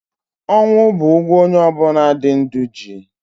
Ọnwụ bụ ụgwọ onye ọbụna dị ndụ ji.